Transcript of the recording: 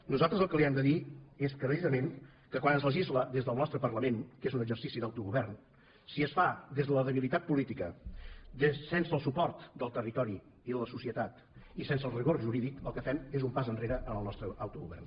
nosaltres el que li hem de dir és claríssimament que quan es legisla des del nostre parlament que és un exercici d’autogovern si es fa des de la debilitat política sense el suport del territori i de la societat i sense el rigor jurídic el que fem és un pas enrere en el nostre autogovern